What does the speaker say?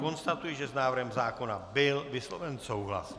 Konstatuji, že s návrhem zákona byl vysloven souhlas.